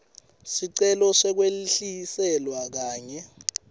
sicelo sekwehliselwa kanye